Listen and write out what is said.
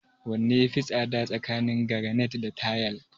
Wanne ya fi tsada tsakanin garanait da tayal?